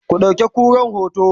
ku ɗauki kuran hoto!